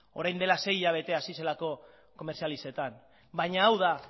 orain dela sei hilabete hasi zelako komerzializatzen baina hau da